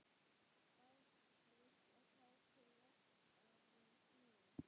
Bærist kát til vaxtar snúin.